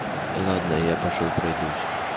ладно я пошёл пройдусь